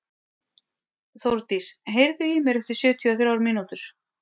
Þórdís, heyrðu í mér eftir sjötíu og þrjár mínútur.